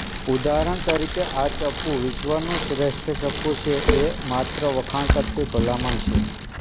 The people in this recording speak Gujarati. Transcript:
ઉદાહરણ તરીકે આ ચપ્પુ વિશ્વનું શ્રેષ્ઠ ચપ્પુ છે એ માત્ર વખાણ કરતી ભલામણ છે